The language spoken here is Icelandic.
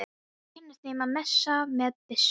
Kenni þeim að messa með byssu?